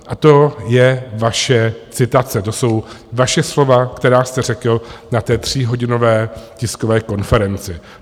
A to je vaše citace, to jsou vaše slova, která jste řekl na té tříhodinové tiskové konferenci.